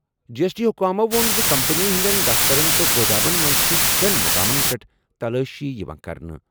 جی S T حکامَو ووٚن زِ کمپنی ہٕنٛدٮ۪ن دفترن تہٕ گودامَن منٛز چھِ شیٚن مُقامَن پٮ۪ٹھ تلٲشی یِوان کرنہٕ۔